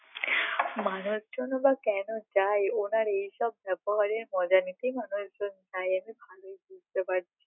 মানুষজন ই বা কেন যায় ওনার এইসব ব্যবহারের মজা নিতে মনে হয় তো যাই এটা ভালই বুঝতে পারছি